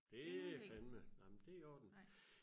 det er fandme nej men det er i orden